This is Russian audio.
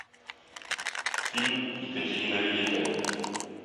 фильм екатерина великая